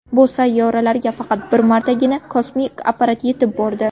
Bu sayyoralarga faqat bir martagina kosmik apparat yetib bordi.